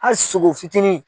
Hali sogo fitinin